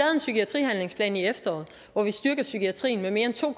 en psykiatrihandlingsplan i efteråret hvor vi styrkede psykiatrien med mere end to